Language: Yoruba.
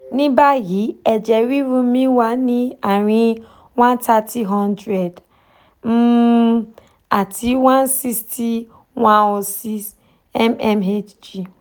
ní báyìí eje riru mi wà ní àárín one thirty hundred um m-m-h-g àti one sixty one O six m-m-h-g